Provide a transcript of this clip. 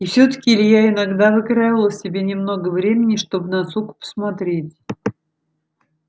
и всё-таки илья иногда выкраивал себе немного времени чтобы на сук посмотреть